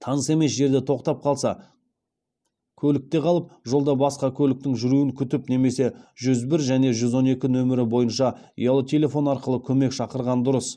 таныс емес жерде тоқтап қалса көлікте қалып жолда басқа көліктің жүруін күтіп немесе жүз бір және жүз он екі нөмірі бойынша ұялы телефон арқылы көмек шақырған дұрыс